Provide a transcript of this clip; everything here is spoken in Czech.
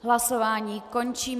Hlasování končím.